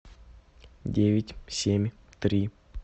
девять семь три